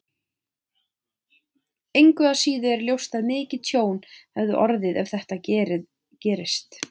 Engu að síður er ljóst að mikið tjón hefði orðið ef þetta gerist.